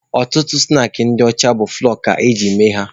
Ọtụtụ snaakị ndị ọcha bụ fụlọọ ka eji eme ya.